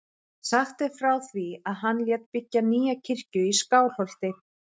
Sagt er frá því að hann lét byggja nýja kirkju í Skálholti.